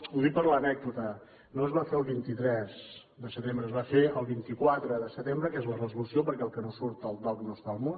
ho dic per l’anècdota no es va fer el vint tres de setembre es va fer el vint quatre de setembre que és la resolució perquè el que no surt al dogc no és al món